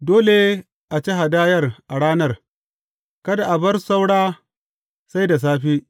Dole a ci hadayar a ranar; kada a bar saura sai da safe.